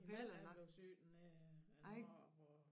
Min man er blevet syg dernede hvor hvor